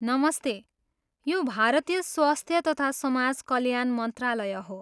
नमस्ते! यो भारतीय स्वास्थ्य तथा समाज कल्याण मन्त्रालय हो।